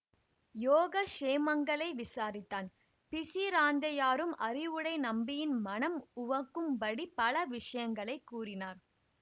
யோகக்ஷேமங்களை விசாரித்தான் பிசிராந்தையாரும் அறிவுடை நம்பியின் மனம் உவக்கும்படி பல விஷயங்களை கூறினார்